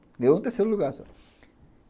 Ganhou em terceiro lugar só.